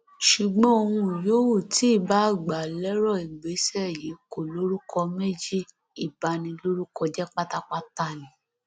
ṣùgbọn ohun yòówù tí ìbáà gbà lérò ìgbésẹ yìí kò lórúkọ méjì ìbanilórúkọjẹ pátápátá ni